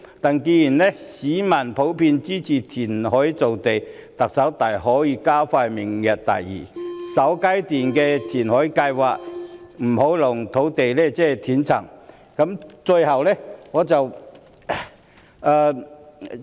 不過，既然市民普遍支持填海造地，特首大可以加快推行明日大嶼的首階段填海計劃，以免土地供應出現斷層。